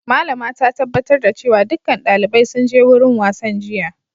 Malama ta tabbatar da cewa dukkan dalibai sun je wurin wasan jiya.